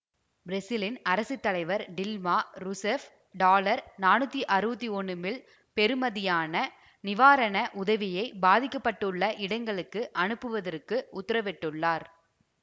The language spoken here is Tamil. பிரேசிலின் அரசு தலைவர் டில்மா ரூசெஃப் டாலர் நானூத்தி அறுவத்தி ஒன்னு மில் பெறுமதியான நிவாரண உதவியை பாதிக்க பட்டுள்ள இடங்களுக்கு அனுப்புவதற்கு உத்தரவிட்டுள்ளார்